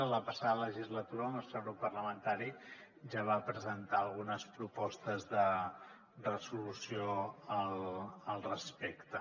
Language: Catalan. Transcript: en la passada legislatura el nostre grup parlamentari ja va presentar algunes propostes de resolució al respecte